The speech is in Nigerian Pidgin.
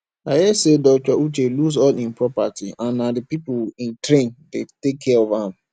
i hear say dr uche lose all im property and na the people he train dey take care of am